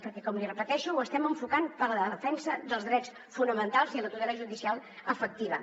perquè com li repeteixo ho estem enfocant per a la defensa dels drets fonamentals i a la tutela judicial efectiva